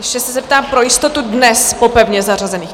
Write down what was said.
Ještě se zeptám pro jistotu: dnes po pevně zařazených?